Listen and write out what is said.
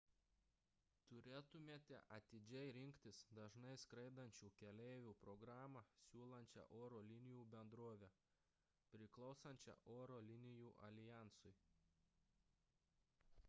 turėtumėte atidžiai rinktis dažnai skraidančių keleivių programą siūlančią oro linijų bendrovę priklausančią oro linijų aljansui